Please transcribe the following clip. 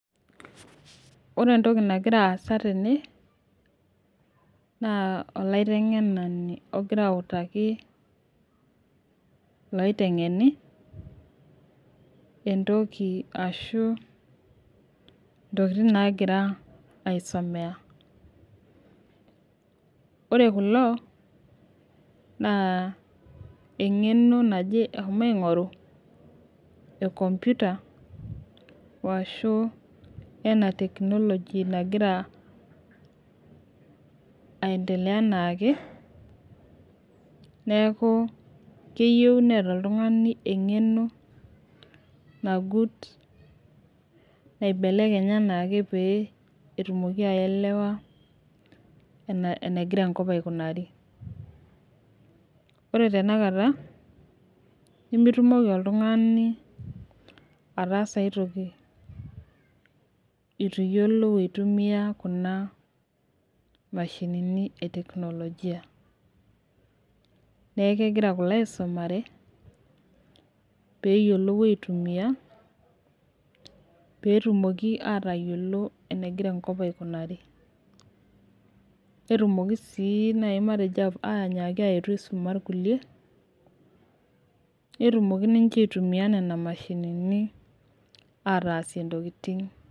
Ore entoki nagira aas tene, naa olaitengenani ogira autaki ilotengeni , entoki ashu ntokitin naagira aisomea. ore kulo naa engeno naje eshomo aing'oru e computer ashu, ena technology nagira aendelea anaake. neeku keyieu neeta oltungani engeno nagut naibelekenye anaake pee etumoki aelewa enegira enkop aikunari. ore tenakata nemitumoki oltungani ataasa aitoki eitu iyiolou aitumia Kuna mashinini e teknologia neeku kegira kulo aisumare, pee eyiolou aitumia. pee etumoki aatayiolo enegira enkop aikunari. netumoki sii naaji anyaki ayetu aisuma irkulie. netumoki ninche aitumia Nena mashinini ataasie ntokitin.